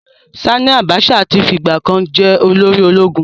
Sanni Abacha ti fi ìgbà kan jẹ́ olórí ológun.